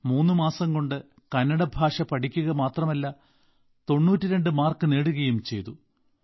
മൂന്ന് മാസംകൊണ്ട് കന്നഡ ഭാഷ പഠിക്കുക മാത്രമല്ല 92 മാർക്ക് നേടുകയും ചെയ്തു